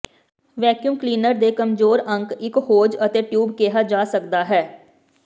vacuum cleaner ਦੇ ਕਮਜ਼ੋਰ ਅੰਕ ਇੱਕ ਹੋਜ਼ ਅਤੇ ਟਿਊਬ ਕਿਹਾ ਜਾ ਸਕਦਾ ਹੈ